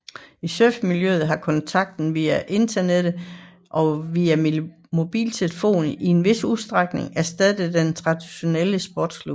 I surfmiljøet har kontakter via internettet og via mobiltelefon i en vis udstrækning erstattet den traditionelle sportsklub